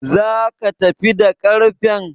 Zaka tafi da ƙarfen?